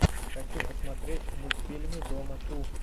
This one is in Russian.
хочу посмотреть мультфильмы дома ту